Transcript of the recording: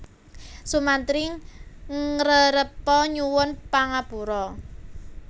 Sumantri ngrerepa nyuwun pangapura